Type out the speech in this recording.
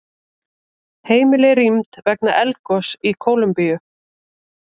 Heimili rýmd vegna eldgoss í Kólumbíu